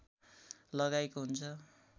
लगाइएको हुन्छ